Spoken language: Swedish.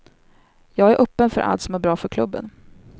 Jag är öppen för allt som är bra för klubben.